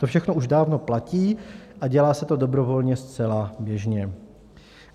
To všechno už dávno platí a dělá se to dobrovolně zcela běžně.